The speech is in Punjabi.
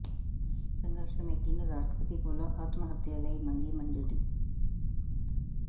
ਸੰਘਰਸ਼ ਕਮੇਟੀ ਨੇ ਰਾਸ਼ਟਰਪਤੀ ਕੋਲੋਂ ਆਤਮ ਹੱਤਿਆ ਲਈ ਮੰਗੀ ਮਨਜ਼ੂਰੀ